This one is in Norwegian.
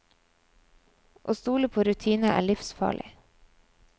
Å stole på rutine er livsfarlig.